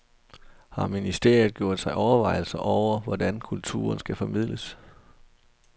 Har ministeriet gjort sig overvejelser over, hvordan kulturen skal formidles?